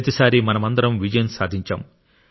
ప్రతిసారీ మనమందరం విజయం సాధించాం